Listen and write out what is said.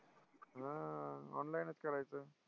हा, online च करायचं.